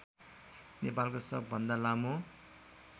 नेपालको सबभन्दा लामो